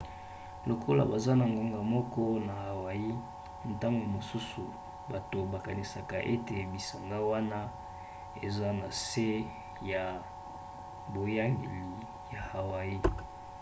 lokola baza na ngonga moko na hawaii ntango mosusu bato bakanisaka ete bisanga wana eza na se ya boyangeli ya hawaii